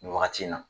Nin wagati in na